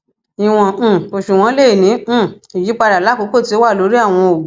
iwọn um oṣuwọn le ni um iyipada lakoko ti o wa lori awọn oogun